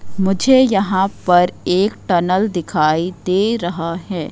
मुझे यहां पर एक टनल दिखाई दे रहा है।